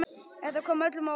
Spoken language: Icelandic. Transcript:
Þetta kom öllum á óvart.